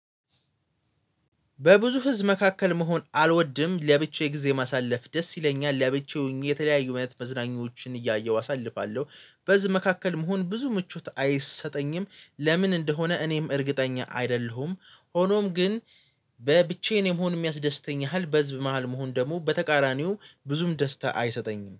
በብዙ ህዝብ መካከል መሆን አልወድም። ለብቻዬ ጊዜ ማሳለፍ ደስ ይለኛል። ለብቻዬ ሆኜ የተለያዩ አይነት መዝናኞዎችን እያየሁ አሳልፋለሁ። በዚህ መካከል መሆን ብዙ ምቾት አይሰጠኝም። ለምን እንደሆነ እኔም እርግጠኛ አይደለሁም። ሆኖም ግን በብቻዬን የመሆን የሚያስደስተኝ ያህል በህዝብ መሃል መሆን ደግሞ በተቃራኒው ብዙም ደስታ አይሰጠኝም።